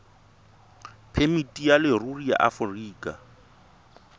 phemiti ya leruri ya aforika